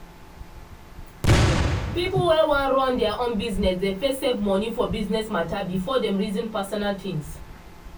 people wey wan run their own business dey first save money for business mata before dem reason personal tins.